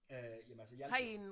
Øh jamen altså jeg